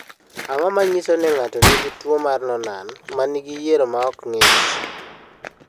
Ang’o ma nyiso ni ng’ato nigi tuwo mar Noonan ma nigi yier ma ok ng’ich?